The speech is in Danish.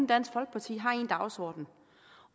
dansk folkeparti har en dagsorden